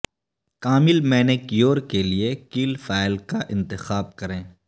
کامل manicure کے لئے کیل فائل کا انتخاب کریں